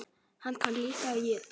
Sigrún besta vinkona hennar.